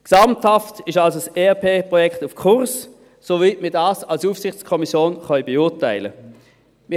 Gesamthaft ist also das ERP-Projekt auf Kurs, soweit wir das als Aufsichtskommission beurteilen können.